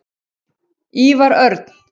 Ívar Örn.